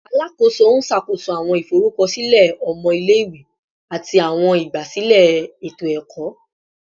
Alakoso n ṣakoso awọn iforukọsilẹ ọmọ ile-iwe ati awọn igbasilẹ eto-ẹkọ